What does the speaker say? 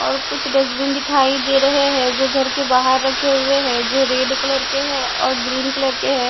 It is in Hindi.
और कुछ डस्टबिन दिखाई दे रहे हैं जो घर के बाहर रखे हुए हैं जो रेड कलर के हैं और ग्रीन कलर के हैं।